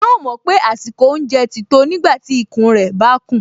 Yóò mọ̀ pé àsìkò oúnjẹ ti tó nígbàtí ikùn rẹ̀ bá kùn